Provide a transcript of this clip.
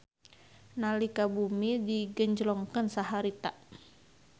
Nalika bumi digenjlongkeun saharita